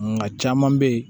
Nka caman bɛ yen